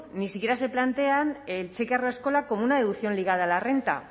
ni siquiera se plantean el cheque haurreskolak como una deducción ligada a la renta